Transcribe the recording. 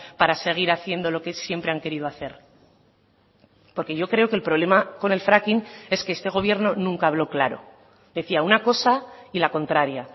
para seguir haciendo lo que siempre han querido hacer porque yo creo que el problema con el fracking es que este gobierno nunca habló claro decía una cosa y la contraria